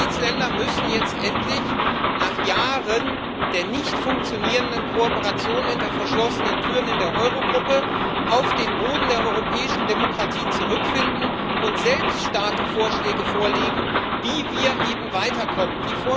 Die Mitgliedsländer müssen jetzt endlich nach Jahren der nicht funktionierenden Kooperation hinter verschlossenen Türen in der Eurogruppe auf den Boden der europäischen Demokratie zurückfinden und selbst starke Vorschläge vorlegen, wie wir eben weiterkommen.